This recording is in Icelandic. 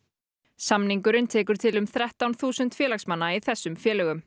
samningurinn tekur til um þrettán þúsund félagsmanna í þessum félögum